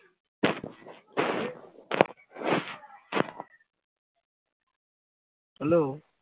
Hello